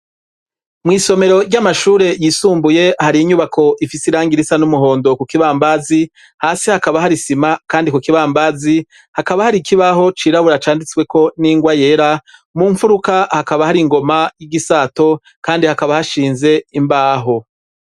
mw' isomero ry'amashure yisumbuye hari inyubako ifise irangi risa n'umuhondo ku kibambazi hasi hakaba hari sima kandi ku kibambazi hakaba hari ikibaho cirabura canditswe ko n'ingwa yera mu mfuruka hakaba hari ingoma y'igisato kandi hakaba hashinze imbaho